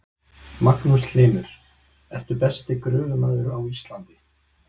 Magnús Hlynur: Ertu besti gröfumaður á Íslandi?